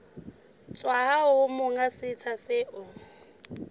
tswa ho monga setsha seo